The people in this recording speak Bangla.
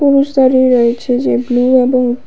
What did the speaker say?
পুরুষ দাঁড়িয়ে রয়েছে যে ব্লু এবং--